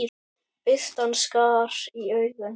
Birtan skar í augun.